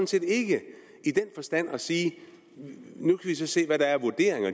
set ikke i den forstand at sige at man nu kan se hvad der er af vurderinger